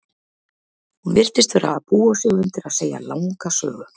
Hún virtist vera að búa sig undir að segja langa sögu.